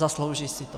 Zaslouží si to.